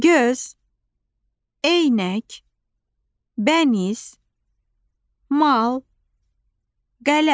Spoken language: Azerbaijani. Göz, eynək, bəniz, mal, qələm.